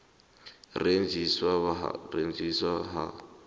u rengiswa ha